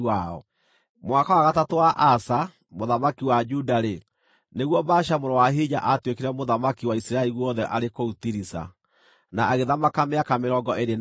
Mwaka wa gatatũ wa Asa, mũthamaki wa Juda-rĩ, nĩguo Baasha mũrũ wa Ahija aatuĩkire mũthamaki wa Isiraeli guothe arĩ kũu Tiriza, na agĩthamaka mĩaka mĩrongo ĩĩrĩ na ĩna.